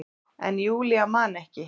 En Júlía man ekki.